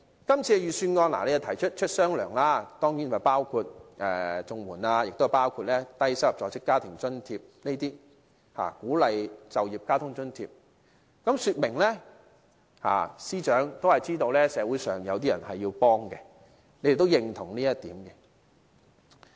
今次的預算案提出"出雙糧"，包括綜援，亦包括低收入在職家庭津貼、鼓勵就業交通津貼，說明司長都知道社會上有人需要幫助，他亦認同這一點。